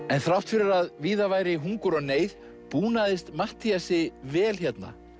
en þrátt fyrir að víða væri hungur og neyð Matthíasi vel hérna